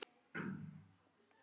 Hann verður að þegja.